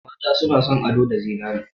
Mata na son ado da zinare.